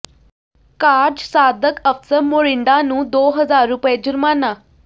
ਕਾਰਜ ਸਾਧਕ ਅਫ਼ਸਰ ਮੋਰਿੰਡਾ ਨੂੰ ਦੋ ਹਜ਼ਾਰ ਰੁਪਏ ਜੁਰਮਾਨਾ